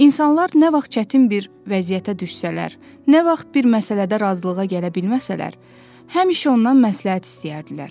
İnsanlar nə vaxt çətin bir vəziyyətə düşsələr, nə vaxt bir məsələdə razılığa gələ bilməsələr, həmişə ondan məsləhət istəyərdilər.